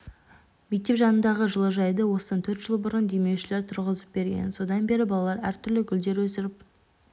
мектеп жанындағы жылыжайды осыдан төрт жыл бұрын демеушілер тұрғызып берген содан бері балалар әртүрлі гүлдер өсіріп